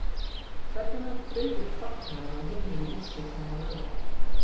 Hvernig mun Friðrik fagna ef hann vinnur í úrslitunum á laugardag?